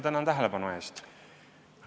Tänan tähelepanu eest!